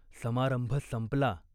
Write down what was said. समारंभ संपला.